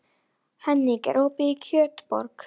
Henning, er opið í Kjötborg?